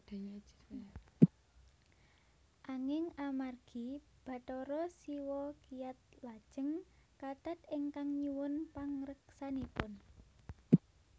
Anging amargi Bathara Siwa kiyat lajeng kathat ingkang nyuwun pangreksanipun